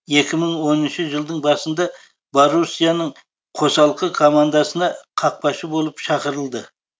екі мың оныншы жылдың басында боруссияның қосалқы командасына қақпашы болып шақырылды